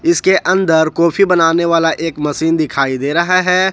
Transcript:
इसके अंदर कॉफी बनाने वाला एक मशीन दिखाई दे रहा है।